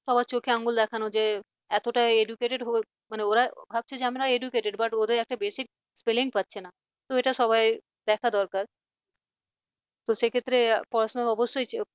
সবার চোখে আঙুল দেখানো যে এতটা educated হয়েও মানে ওরা ভাবছে যে আমরা educated but ওদের একটা basic spelling পাচ্ছে না তো এটা সবার দেখা দরকার তো সেক্ষেত্রে পড়াশোনা অবশ্যই